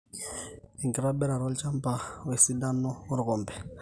enkitobirata olchamba wesidano orkompe